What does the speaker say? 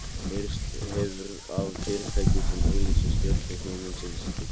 Heyrst hefur af fyrirtækjum sem auglýsa stjörnur himinsins til sölu.